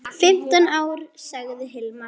Fimmtán ár, sagði Hilmar.